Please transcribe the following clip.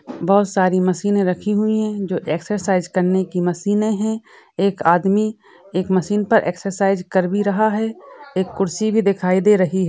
बहुत सारे मशीने रखी हुई है जो एक्सर्साइज़ करने की मशीने है एक आदमी एक मशीन पर एक्सर्साइज़ कर भी रहा है एक कुर्सी भी दिखाई दे रही--